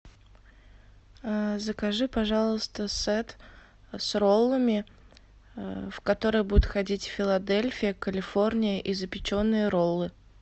закажи пожалуйста сет с роллами в который будет входить филадельфия калифорния и запеченные роллы